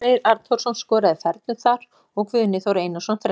Elvar Freyr Arnþórsson skoraði fernu þar og Guðni Þór Einarsson þrennu.